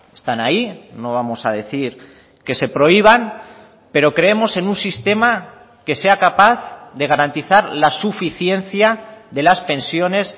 están ahí no vamos a decir que se prohíban pero creemos en un sistema que sea capaz de garantizar la suficiencia de las pensiones